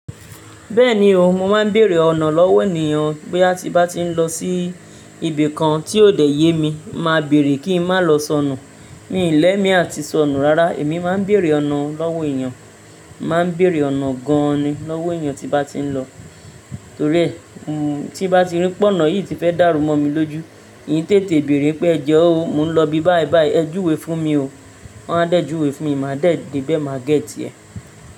Bẹ́ẹ̀ni o, mo máa ń bèèrè ọ̀nà lọ́wọ́ ènìyàn bó tí bá ti ń lọ sí ibi kan tí ó dẹ yemi, màá béèrè kí ń má lọ sọnù. Mí l'ẹmi àti sọnù rárá èmi máa ń bèèrè ọ̀nà lọ́wọ́ ènìyàn, màá béèrè ọ̀nà gan ni lọ́wọ́ ènìyàn tí bá ti ń lọ. Torí ẹ, tí bá ti rí pé ọ̀nà yìí ti fẹ́ dàrú mọ́ mi lójú, hìn tètè béèrè pé ẹjọ o, mò ń lọ ibi báì báì ẹ júwe fún mi o, wọn á dẹ́ júwe fún mi, màá dẹ́ de bẹ́ mà gẹ́tì ẹ́.